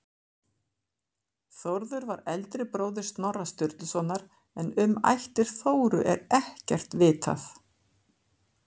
Þórður var eldri bróðir Snorra Sturlusonar en um ættir Þóru er ekkert vitað.